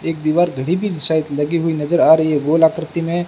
एक दीवार घड़ी भी शायद लगी हुई नजर आ रही है गोल आकृति में--